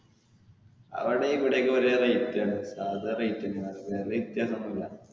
അവിടേം ഇവിടേം ഒക്കെ ഒരേ rate ആണ് സാധാ rate തന്നെ ആണ് വേറെ വ്യത്യാസം ഒന്നും ഇല്ല.